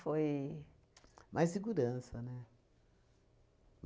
Mais segurança, né?